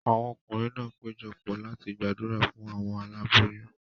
Awọn ọkunrin náà pejọ pọ̀ láti gbàdúrà fún awọn aláboyún